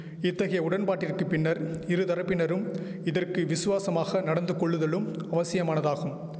இத்தகைய உடன்பாட்டிற்கு பின்னர் இருதரப்பினரும் இதற்கு விசுவாசமாக நடந்துகொள்ளுதலும் அவசியமானதாகும்